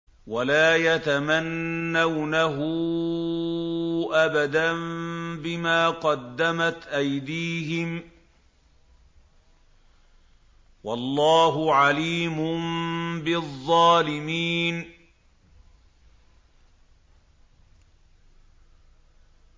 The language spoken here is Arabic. وَلَا يَتَمَنَّوْنَهُ أَبَدًا بِمَا قَدَّمَتْ أَيْدِيهِمْ ۚ وَاللَّهُ عَلِيمٌ بِالظَّالِمِينَ